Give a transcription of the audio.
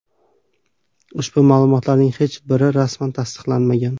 Ushbu ma’lumotlarning hech biri rasman tasdiqlanmagan.